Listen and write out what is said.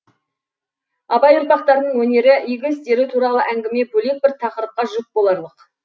абай ұрпақтарының өнері игі істері туралы әңгіме бөлек бір тақырыпқа жүк боларлық